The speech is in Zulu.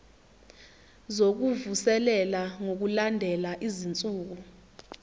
zokuvuselela ngokulandela izinsuku